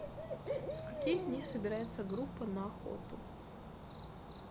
в какие дни собирается группа на охоту